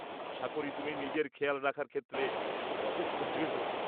আশা করি তুমি নিজের খেয়াল রাখার ক্ষেত্রে যথেষ্ট দৃঢ়।